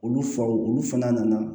Olu faw olu fana nana